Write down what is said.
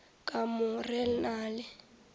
ka mo re na le